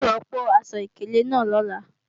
A ó rọ́pò aṣọ ìkélé náà lọ́la